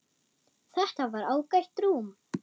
Þetta var ágætt rúm.